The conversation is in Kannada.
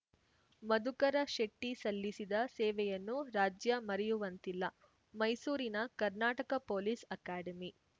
ಮಧುಕರ ಶೆಟ್ಟಿಸಲ್ಲಿಸಿದ ಸೇವೆಯನ್ನು ರಾಜ್ಯ ಮರೆಯುವಂತಿಲ್ಲ ಮೈಸೂರಿನ ಕರ್ನಾಟಕ ಪೊಲೀಸ್‌ ಅಕಾಡೆಮಿ